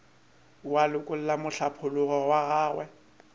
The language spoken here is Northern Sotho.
wa lekola mohlapologo wa gagwe